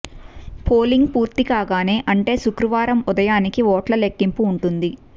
polling పూర్తి కాగానే అంటే శుక్రవారం ఉదయానికి ఓట్ల లెక్కింపు ఉంటుంది